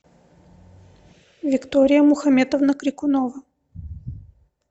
виктория мухаметовна крикунова